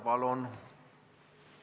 Palun!